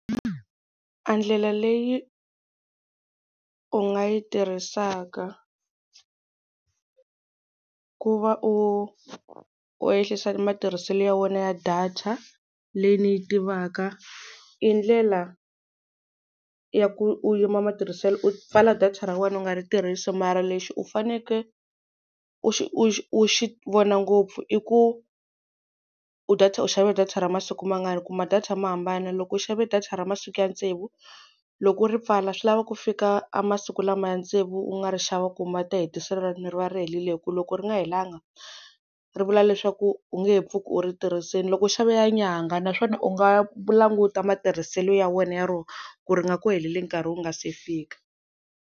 A ndlela leyi u nga yi tirhisaka ku va u u ehlisa matirhiselo ya wena ya data leyi ni yi tivaka, i ndlela ya ku u yima matirhiselo u pfala data ra wena u nga ri tirhisi. Mara lexi u faneke u xi u xi u xi vona ngopfu i ku u data u xave data ra masiku mangani, hi ku ma-data ma hambana. Loko u xave data ra masiku ya tsevu loko u ri pfala swi lava ku fika a masiku lamaya ya tsevu u nga ri xava ku ma ta hetisela ri va ri helile, hi ku loko ri nga helanga ri vula leswaku u nge he pfuki u ri tirhisini. Loko u xave ya nyangha naswona u nga languta matirhiselo ya wena ya rona ku ri nga ku helele nkarhi wu nga se fika.